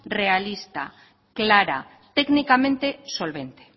realista clara técnicamente solvente